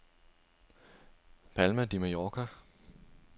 Palma de Mallorca